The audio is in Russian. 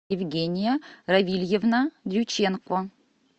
евгения равильевна дьюченко